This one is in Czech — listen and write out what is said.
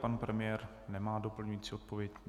Pan premiér nemá doplňující odpověď.